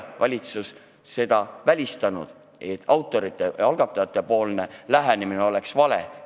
Valitsus ei ole seda välistanud ega öelnud, et algatajate lähenemine on vale.